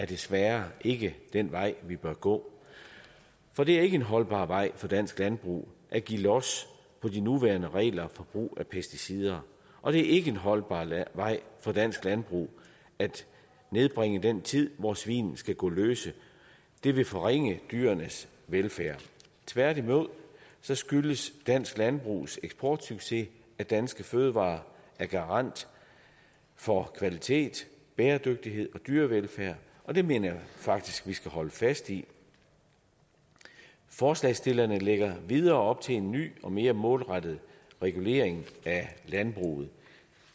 desværre ikke den vej vi bør gå for det er ikke en holdbar vej for dansk landbrug at give los på de nuværende regler for brug af pesticider og det er ikke en holdbar vej for dansk landbrug at nedbringe den tid hvor svin skal gå løse det vil forringe dyrenes velfærd tværtimod skyldes dansk landbrugs eksportsucces at danske fødevarer er garant for kvalitet bæredygtighed og dyrevelfærd og det mener jeg faktisk vi skal holde fast i forslagsstillerne lægger endvidere op til en ny og mere målrettet regulering af landbruget